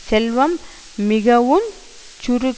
செல்வம் மிகவுஞ் சுருங்கின்